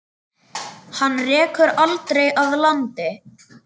Hana rekur aldrei að landi.